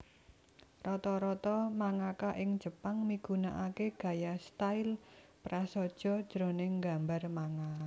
Rata rata mangaka ing Jepang migunakaké gaya style prasaja jroning nggambar manga